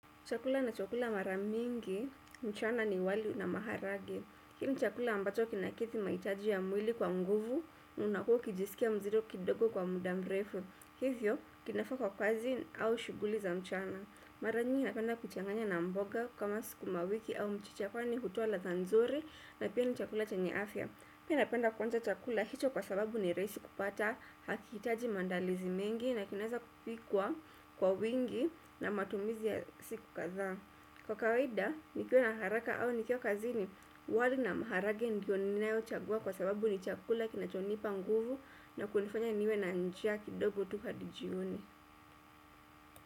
Chakula nachobkula mara mingi, mchana ni wali na maharage hii ni chakula ambacho kina kithi mahitaji ya mwili kwa nguvu, unakuwa ukiijisikia mzito kidogo kwa muda mrefu. Hivyo kinafaa kwa kazi au shughuli za mchana mara nyingi napenda kuchanganya na mboga kama sukuma wiki au mchicha kwani hutoa ladha nzuri na pia ni chakula chanye afya pia napenda kuanza chakula hicho kwa sababu ni rahisi kupata hakihitaji maadalizi mengi na kinaweza kupikwa kwa wingi na matumizi ya siku kadhaa kwa kawaida, nikiwa na haraka au nikiwa kazini, wali na maharagwe ndiyo ninayochagua kwa sababu ni chakula kinachonipa nguvu na kunifanya niwe na njia kidogo tu hadi jioni.